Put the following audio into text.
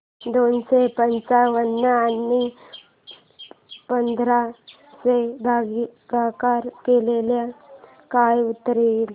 दोनशे पंच्याण्णव आणि पंधरा चा भागाकार केल्यास काय उत्तर येईल